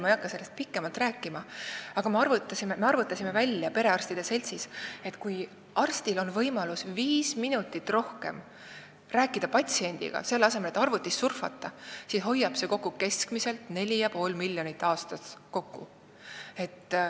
Ma ei hakka sellest pikemalt rääkima, aga ütlen, et me arvutasime perearstide seltsis välja, et kui arstil on võimalus viis minutit rohkem patsiendiga rääkida, selle asemel et arvutis surfata, siis hoiab see aastas kokku keskmiselt 4,5 miljonit eurot.